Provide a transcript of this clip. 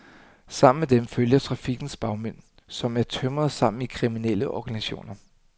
Sammen med dem følger trafikkens bagmænd, som er tømret sammen i kriminelle organisationer.